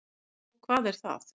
Og hvað er það?